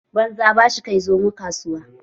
Banza ba shi kai Zomo kasuwa